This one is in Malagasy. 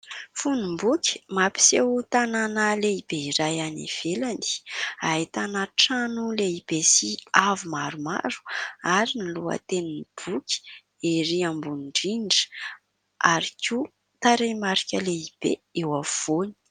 Fonom-boky mampiseo tanàna lehibe iray any ivelany ahitana trano lehibe sy avo maromaro ; ary ny loha tenin'ny boky erỳ ambony-drindra ary koa taremarika lehibe eo afovoany.